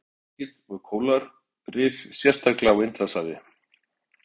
Sæhestar eru einnig algengir við kóralrif sérstaklega á Indlandshafi.